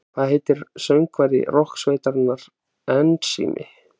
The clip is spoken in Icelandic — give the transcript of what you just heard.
Hvað heitir söngvari rokksveitarinnar Ensími?